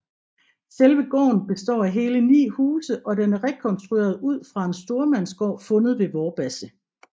Selve gården består af hele 9 huse og den er rekonstrueret ud fra en stormandsgård fundet ved Vorbasse